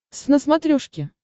твз на смотрешке